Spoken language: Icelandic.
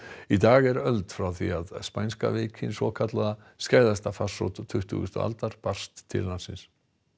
í dag er öld frá því að spænska veikin skæðasta farsótt tuttugustu aldar barst til landsins